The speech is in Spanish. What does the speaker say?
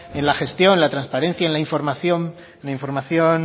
en la gestión la transparencia y en la información